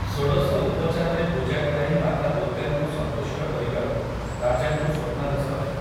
ଷୋଡ଼ଶ ଉପଚାରରେ ପୂଜା କରାଇ ମାତା ଦୁର୍ଗାଙ୍କୁ ସନ୍ତୁଷ୍ଟ କରିବାରୁ ରାଜାଙ୍କୁ ସ୍ୱପ୍ନାଦେଶ ହେଲା ।